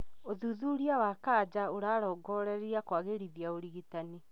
ũthuthuria wa kanja ũrarongoreria kwagĩrithia ũrigitani